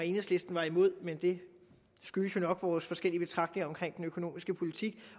enhedslisten er imod men det skyldes jo nok vores forskellige betragtninger af den økonomiske politik